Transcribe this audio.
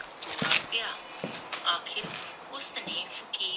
ਡੋਰਾ ਪਿਆ ਆਖਿਰ ਉਸਨੇ ਫ਼ਕੀਰ